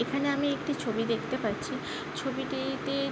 এইখানে আমি একটি ছবি দেখতে পাচ্ছি ছবিটিতে--